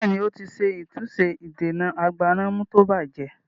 Bẹ́ẹ̀ni, ó ti ṣe àtúnṣe ìdènà agbánàmú tí ó bajẹ́